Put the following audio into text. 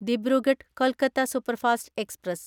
Dibrugarh Kolkata superfast express